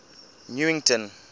newington